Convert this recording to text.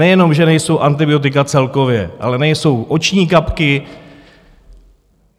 Nejenom že nejsou antibiotika celkově, ale nejsou oční kapky.